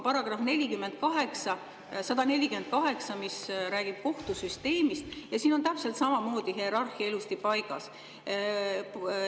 Paragrahvis 148, mis räägib kohtusüsteemist, on täpselt samamoodi hierarhia ilusti paigas.